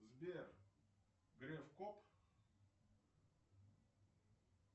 сбер греф коп